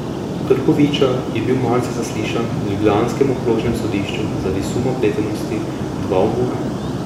Krkoviča je bil marca zaslišan ljubljanskem okrožnem sodišču zaradi suma vpletenosti v dva umora.